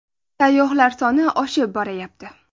Sayyohlar soni oshib borayapti.